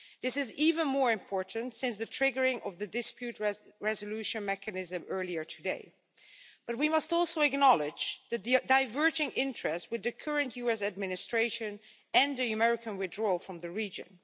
This is even more important since the triggering of the dispute resolution mechanism earlier today, but we must also acknowledge the diverging interest with the current US administration and the American withdrawal from the region.